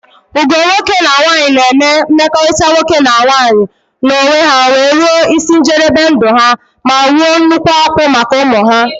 Ugo nwoke na nwanyi na eme mmekọrịta nwoke na nwanyi na onwe ha wee ruo isi njebebe ndụ ha ma wuo nnukwu akwụ́ maka ụmụ ha.